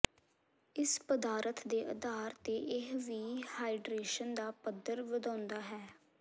ਇਸ ਪਦਾਰਥ ਦੇ ਅਧਾਰ ਤੇ ਇਹ ਵੀ ਹਾਈਡਰੇਸ਼ਨ ਦਾ ਪੱਧਰ ਵਧਾਉਂਦਾ ਹੈ